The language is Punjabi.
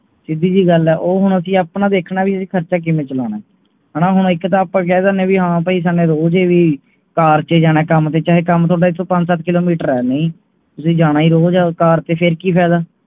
ਸਿਧਿ ਜੀ ਗੱਲ ਹੈ ਉਹ ਹੁਣ ਅਸੀਂ ਅਪਣਾ ਵੇਖਣਾ ਹੈ ਵੀ ਅਸੀਂ ਖ਼ਰਚਾ ਕਿਵੇਂ ਚਲਾਉਣਾ ਹੈਣਾ, ਹੁਣ ਇਕ ਤਾਂ ਆਪਾ ਕਹਿ ਦੀਨੇ ਹੈ ਪਈ ਰੋਜ ਹੀ car ਤੇ ਜਾਣਾ, ਚਾਹੇ ਕੰਮ ਤੁਹਾਡਾ ਇਥੋਂ ਪੰਜ ਸੱਤ kilometer ਹੈ, ਨਹੀਂ ਤੁਸੀ ਜਾਣਾ ਹੀ ਰੋਜ ਹੈ car ਤੇ ਫੇਰ ਕੀ ਫ਼ਾਇਦਾ